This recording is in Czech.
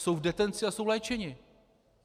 Jsou v detenci a jsou léčeni.